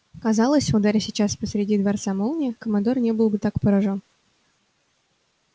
казалось ударь сейчас посреди дворца молния командор не был бы так поражён